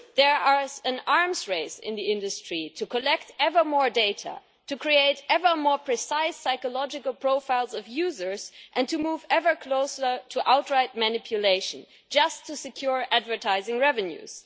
There is an arms race in the industry to collect ever more data, to create ever more precise psychological profiles of users and to move ever closer to outright manipulation just to secure advertising revenues.